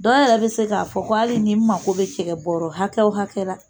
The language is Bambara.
Dɔ yɛrɛ be se k'a fɔ ko hali ni n mako be cɛkɛ bɔrɔ hakɛ o hakɛ ra